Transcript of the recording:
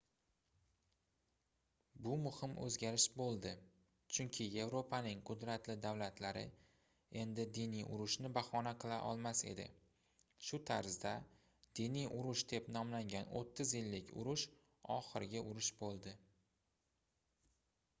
bu muhim oʻzgarish boʻldi chunki yevropaning qudratli davlatlari endi diniy urushni bahona qila olmas edi shu tarzda diniy urush deb nomlangan oʻttiz yillik urush oxirgi urush boʻldi